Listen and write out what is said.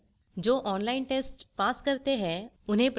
online test pass करने वालों को प्रमाणपत्र देते हैं